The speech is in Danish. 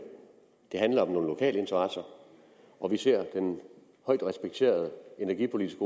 det handler om nogle lokale interesser og vi ser den højt respekterede energipolitiske